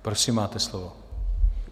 Prosím, máte slovo.